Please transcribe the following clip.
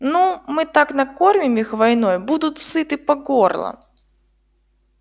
ну мы так накормим их войной будут сыты по горло